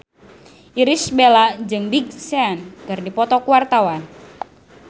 Irish Bella jeung Big Sean keur dipoto ku wartawan